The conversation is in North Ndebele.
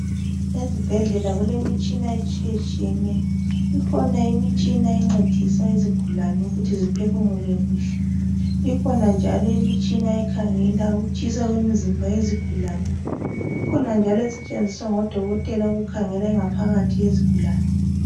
Ezibhedlela kulemitshina etshiyetshiyeneyo ikhona imitshina encedisa izigulane ukuthi ziphefumule kuhle ikhona njalo imitshina ekhangela ukutshisa kwemizimba yezigulane ikhona njalo esetshenziswa ngodokotela ukukhangela ingaphakathi yezigulane